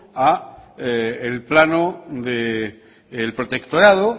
a el plano del protectorado